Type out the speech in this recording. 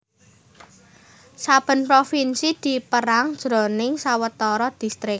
Saben provinsi dipérang jroning sawetara distrik